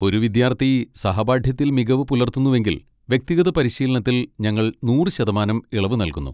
ഒരു വിദ്യാർത്ഥി സഹപാഠ്യത്തിൽ മികവ് പുലർത്തുന്നുവെങ്കിൽ വ്യക്തിഗത പരിശീലനത്തിൽ ഞങ്ങൾ നൂറ് ശതമാനം ഇളവ് നൽകുന്നു.